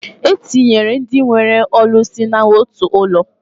E tinyere ndị nwere n'otu ụlọ.